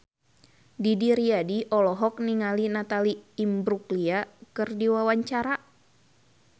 Didi Riyadi olohok ningali Natalie Imbruglia keur diwawancara